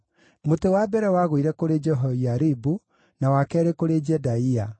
Mũtĩ wa mbere wagũire kũrĩ Jehoiaribu, na wa keerĩ kũrĩ Jedaia,